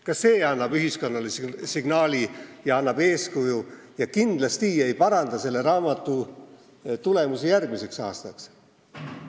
Ka see annab ühiskonnale signaali ja eeskuju ning kindlasti ei paranda selles raamatus järgmisel aastal avaldatavaid tulemusi.